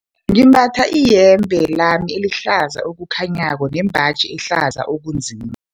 Ngimbatha iyembe lami elihlaza okukhanyako nembaji ehlaza okunzima.